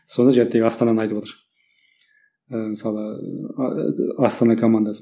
соны астананы айтывотыр